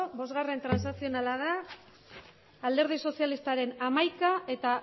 bostgarrena transazionala da alderdi sozialistaren hamaika eta